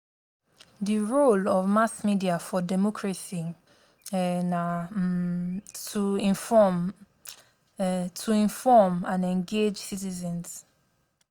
the role of mass media for democracy um na um to inform um to inform and engage citizens.